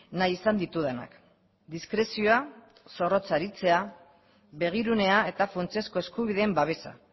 nahi izan ditudanak diskrezioa zorrotz aritzea begirunea eta funtsezko eskubideen babesa